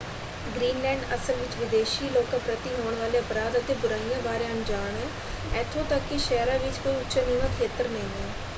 Greenland ਅਸਲ ਵਿੱਚ ਵਿਦੇਸ਼ੀ ਲੋਕਾਂ ਪ੍ਰਤੀ ਹੋਣ ਵਾਲੇ ਅਪਰਾਧ ਅਤੇ ਬੁਰਾਈਆਂ ਬਾਰੇ ਅਣਜਾਣ ਹੈ। ਇੱਥੋਂ ਤੱਕ ਕਿ ਸ਼ਹਿਰਾਂ ਵਿੱਚ ਕੋਈ ਉੱਚਾ-ਨੀਵਾਂ ਖੇਤਰ ਨਹੀਂ ਹੈ।